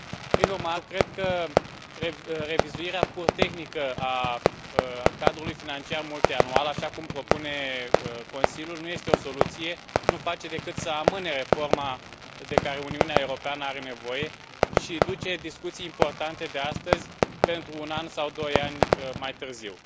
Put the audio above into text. Prin urmare eu cred că revizuirea pur tehnică a cadrului financiar multianual, așa cum propune Consiliul, nu este o soluție, nu face decât să amâne reforma de care Uniunea Europeană are nevoie și duce discuții importante de astăzi pentru un an sau doi ani mai târziu.